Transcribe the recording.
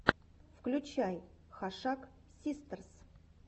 включай хашак систерс